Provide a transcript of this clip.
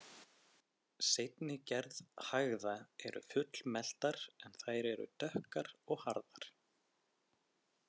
Seinni gerð hægða eru fullmeltar en þær eru dökkar og harðar.